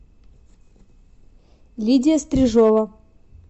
лидия стрижова